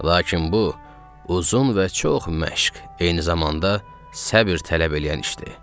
Lakin bu, uzun və çox məşq, eyni zamanda səbr tələb eləyən işdir.